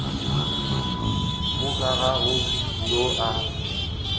moka ga go yo a